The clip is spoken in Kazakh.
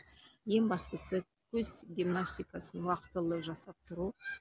ең бастысы көз гимнастикасын уақытылы жасап тұру